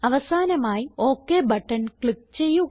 അവസാനമായി okay button click ചെയ്യുക